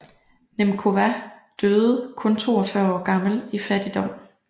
Němcová døde kun 42 år gammel i fattigdom